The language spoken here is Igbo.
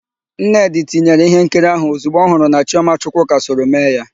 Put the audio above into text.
Nnedị tinyere íhénkiri áhụ̀ ozigbo ọ hụrụ na Chiọma Chukwuka soro mee ya.